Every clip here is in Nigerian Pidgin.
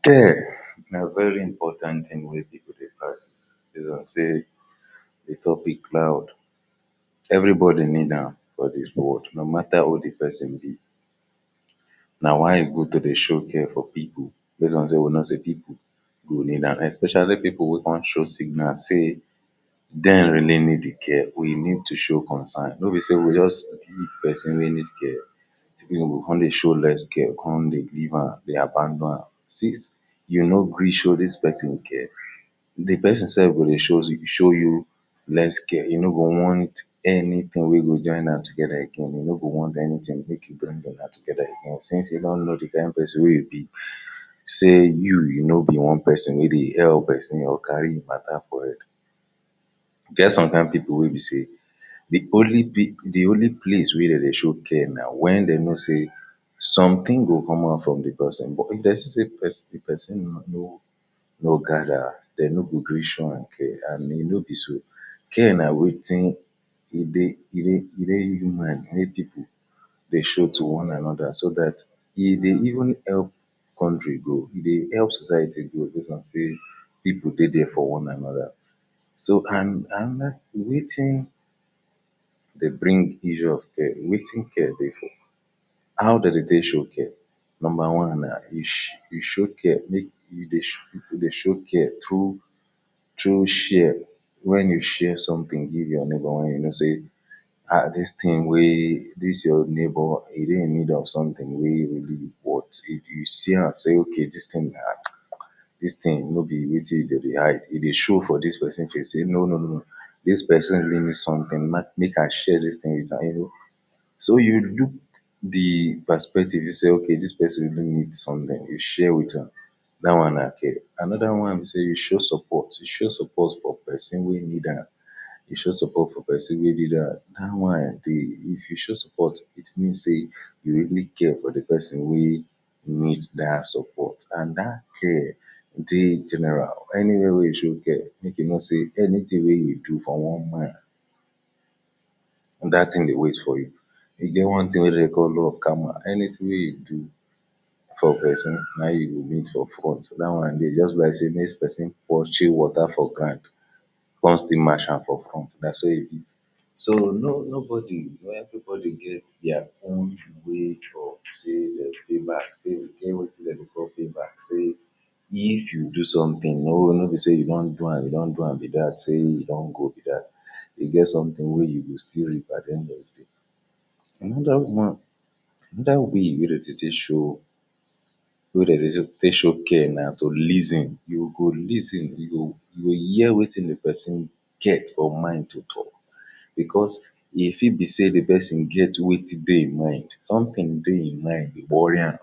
care na very important thing wey people dey practice base on sey the topic loud every body need dam for dis world no matter who the person be na why e good to dey show care for people base on sey we know sey people who need am especially people wey wan show signal sey dem really need the care we need to show concern no be sey we go just live person wey need care we go come dey show less care come dey leave am dey abandom am see e no gree show dis person care the person self go dey shows show you less care e no go want anything wey go join am together again e no go wan anything make you bring you na together again since e don know the kind person wey e be sey you you no be one person wey dey help person or carry hin matter for head e get some kind people wey be sey the only p the only place wey dem dey show care na when dem know sey some thing go come out from person but if them see say person person no no no gather dem no go gree show am care and he no be so, care na wetin he dey he dey he dey human he dey people dey show to one another so dat e dey even help country grow e dey help society grow based on sey people dey there for one another so and another wetin dey bring issue of care wetin care dey for how de dey take show care, number one um you show care make you dey you dey show care through through share when you share something give your neighbor when you know sey um dis thing wey this your neibour e dey in need of something wey e really want if, you see yam sey okay dis thing dis thing no be wetin dem dey hide e dey show for dis person face no no no dis person really need something make i share the thing witam yo no so you look the perspective be say ok dis person really need something you share witam da one na care another one be sey you show support you show support for person wey need am you show support for person wey da one dey if you show suport it mean say you really care for the person wey need that support. and dat care dey general anywhere wey you show care make you know sey anything wey you do for one man dat thing dey wait for you e get one thing wey de dey call law of karma anything wey you do for person na him you go meet for front that one day e just be lie sey mey person pour chilled water for ground con still matcham for front na so he be so no no body wey every body get dia own way for say dey back he get wetin dem dey call payback say if you do somethin more no be sey you wan do am you don do am be dat say he don go be dat he get something wey you go still reap at the end of the day dat one dat will wey dem dey take show wey de dey take show care na to lis ten you go lis ten you go hear wetin the person get for mind to talk because e fit be sey the person get wetin dey e mind something dey e mind dey worry am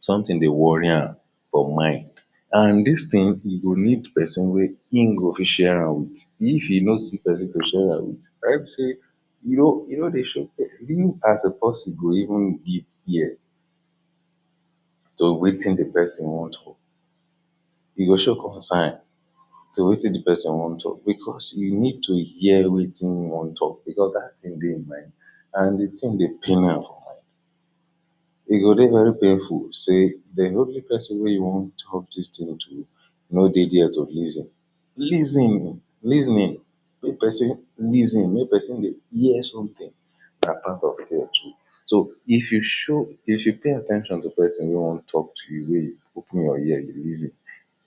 something dey worry am for mind and dis thing e go need person wey in go fit sharam with if e no see person to sharam with right sey you know you know even as a person go even give ear to wetin the person wan talk e go show concern to wetin the person wan talk because you need to hear wetin e wan talk because that thing de he mind and the thing dey pain am e go dey very painful sey dey no be person wey you wan talk dis thing to no dey here to lis ten lis ten lis ten ing to person lis ten mey person dey hear something apart from so if you show if you pay at ten tion to person wey wan talk to you open your ear dey lis ten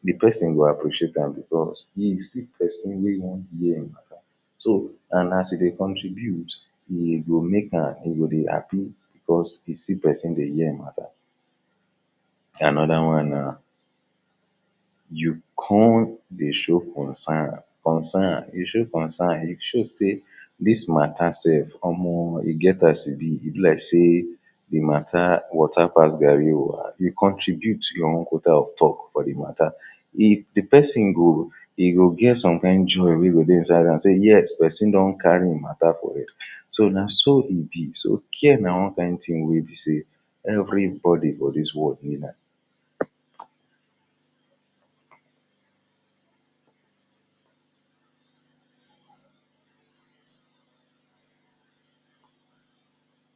the person go appreciate tam because im see person wey wan ear him matter so and as e dey contribute e go mekam e go dey happy because he see person dey ear him matter another one nah you come dey show concern, concern, you show concern, you show sey dis matter sef omo get as e be, e be like dis matter water pass garri o and e contribute to your own quarter of talk for the matter if the person go he go get some kind joy wey go dey inside dam sey yes person don carry him matter for head, so na so e be so care na one kind thing be sey every body for dis world need am